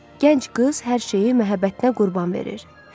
Gənc qız hər şeyi məhəbbətinə qurban verir.